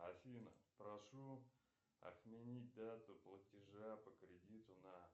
афина прошу отменить дату платежа по кредиту на